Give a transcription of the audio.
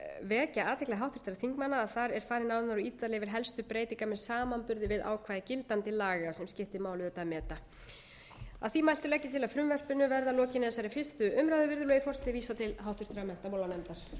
vekja athygli háttvirtra þingmanna á að þar er farið nánar og ítarlegar yfir helstu breytingar með samanburði við ákvæði gildandi laga sem skiptir máli auðvitað að meta að því mæltu legg ég til að frumvarpinu